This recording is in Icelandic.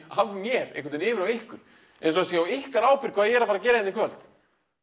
af mér yfir á ykkur eins og það sé á ykkar ábyrgð hvað ég er að fara að gera hér í kvöld